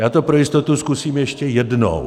Já to pro jistotu zkusím ještě jednou.